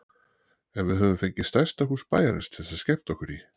En við höfðum fengið stærsta hús bæjarins til að skemmta okkur í.